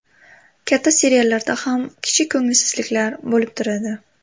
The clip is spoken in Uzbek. Katta seriallarda ham kichik ko‘ngilsizliklar bo‘lib turadi.